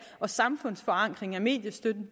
og samfundsforankring af mediestøtten